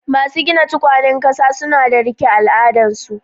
Masu gina tukwanen kasa suna da rike al'adunsu